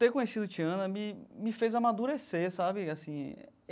Ter conhecido Tiana me me fez amadurecer, sabe assim.